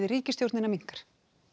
ríkisstjórnina minnkar